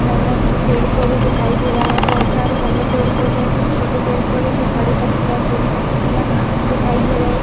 पेड़ पौधे दिखाई दे रहे है। बोहोत सारे घने पेड़ पौधे है कुछ छोटे पेड़ पौधे है। कुछ बड़ी पत्तियां छोटी पत्तियां दिखाई दे रही है।